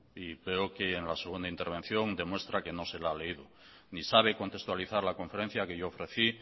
y veo que en la segunda intervención demuestra que no se la ha leído ni sabe contextualizar la conferencia que yo ofrecí